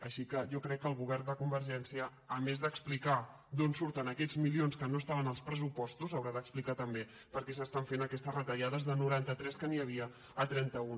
així que jo crec que el govern de convergència a més d’explicar d’on surten aquests milions que no estaven als pressupostos haurà d’explicar també per què s’estan fent aquestes retallades de noranta tres que n’hi havia a trenta un